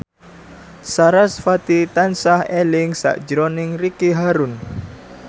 sarasvati tansah eling sakjroning Ricky Harun